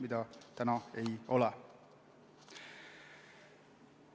Praegu seda ei ole.